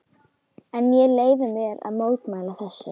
En ég leyfi mér að mótmæla þessu.